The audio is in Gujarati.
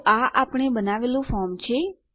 તો આ આપણે બનાવેલું ફોર્મ છે